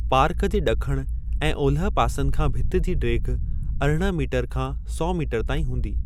Park जे ॾखण ऐं ओलह पासनि खां भिति जी ढेघि अरिड़हं मीटर खां सौ मीटर ताईं हूंदी।